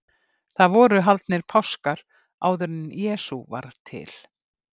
Það voru haldnir páskar áður en Jesús var til?